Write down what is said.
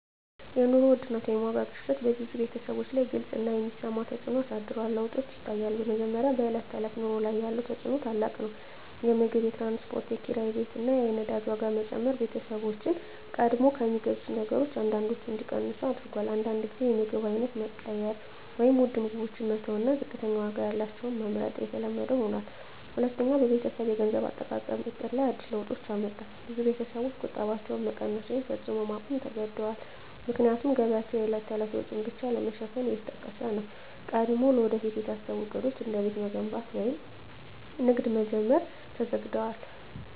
የኑሮ ውድነት (የዋጋ ግሽበት) በብዙ ቤተሰቦች ላይ ግልጽ እና የሚሰማ ተፅዕኖ አሳድሯል። ለውጦች ይታያሉ፦ በመጀመሪያ፣ በዕለት ተዕለት ኑሮ ላይ ያለው ተፅዕኖ ታላቅ ነው። የምግብ፣ የትራንስፖርት፣ የኪራይ ቤት እና የነዳጅ ዋጋ መጨመር ቤተሰቦችን ቀድሞ ከሚገዙት ነገሮች አንዳንዶቹን እንዲቀንሱ አድርጎአል። አንዳንድ ጊዜ የምግብ አይነት መቀየር (ውድ ምግቦችን መተው እና ዝቅተኛ ዋጋ ያላቸውን መመርጥ) የተለመደ ሆኗል። ሁለተኛ፣ በቤተሰብ የገንዘብ አጠቃቀም ዕቅድ ላይ አዲስ ለውጦች አመጣ። ብዙ ቤተሰቦች ቁጠባቸውን መቀነስ ወይም ፈጽሞ ማቆም ተገድደዋል፣ ምክንያቱም ገቢያቸው የዕለት ተዕለት ወጪን ብቻ ለመሸፈን እየተጠቀሰ ነው። ቀድሞ ለወደፊት የታሰቡ ዕቅዶች፣ እንደ ቤት መገንባት ወይም ንግድ መጀመር፣ ተዘግደዋል።